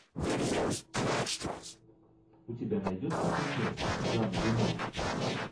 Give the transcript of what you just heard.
у тебя найдется фильмец жан рено